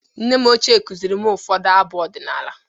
Nne m ochie kụzịrị m ụfọdụ abụ ọdịnala.